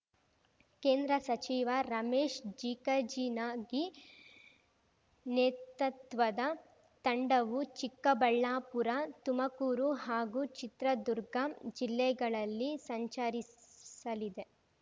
ಕೇಂದ್ರ ಸಚಿವ ರಮೇಶ್‌ ಜಿಕಜಿಣಗಿ ನೇತತ್ವದ ತಂಡವು ಚಿಕ್ಕಬಳ್ಳಾಪುರ ತುಮಕೂರು ಹಾಗೂ ಚಿತ್ರದುರ್ಗ ಜಿಲ್ಲೆಗಳಲ್ಲಿ ಸಂಚರಿಸಲಿದೆ